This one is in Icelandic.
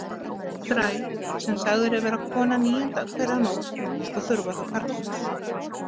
Þræl sem sagður er vera kona níundu hverja nótt og þurfa þá karlmanns.